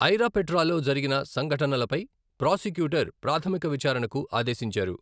ఐరాపేట్రాలో జరిగిన సంఘటనలపై ప్రాసిక్యూటర్ ప్రాథమిక విచారణకు ఆదేశించారు.